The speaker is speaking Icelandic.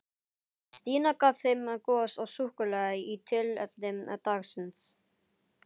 Stína gaf þeim gos og súkkulaði í tilefni dagsins.